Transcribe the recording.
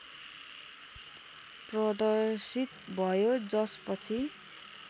प्रदर्शित भयो जसपछि